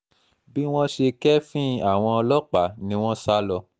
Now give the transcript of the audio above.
bí wọ́n ṣe kẹ́ẹ́fín àwọn ọlọ́pàá ni wọ́n sá lọ